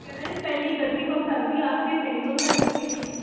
ਕਹਿਣਾ ਜਾ ਪਹਿਲੀ ਗਲਤੀ ਤਾ ਹੋ ਸਕਦੀ ਆਖਰੀ ਤਾ ਨੀ ਹੋ ਸਕਦੀ ਆ